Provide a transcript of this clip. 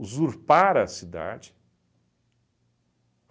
a cidade.